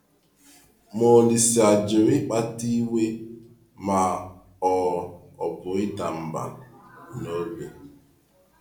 Ma Ȯlísè ajụrụ ịkpata iwe ma ọ ọ bụ ịda mbà n’obi.